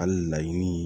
Hali laɲini